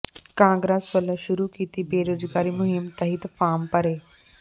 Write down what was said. ਕਾਂਗਰਸ ਵਲੋਂ ਸ਼ੁਰੂ ਕੀਤੀ ਬੇਰੁਜ਼ਗਾਰੀ ਮੁਹਿੰਮ ਤਹਿਤ ਫਾਰਮ ਭਰੇ